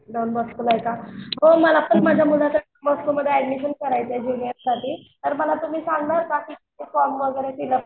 Don बॉस्कोला आहे का? हो मला पण माझ्या मुलाचं दोन बॉस्कोमध्ये ऍडमिशन करायचंय ज्युनियर साठी तर मला तुम्ही सांगाल का फॉर्म वगैरे फिलअप?